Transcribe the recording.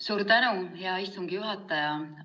Suur tänu, hea istungi juhataja!